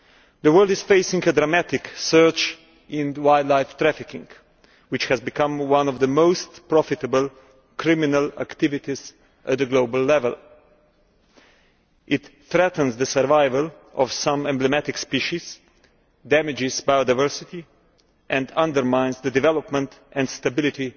The world is facing a dramatic surge in wildlife trafficking, which has become one of the most profitable criminal activities at global level. It threatens the survival of some emblematic species, damages biodiversity and undermines the development and stability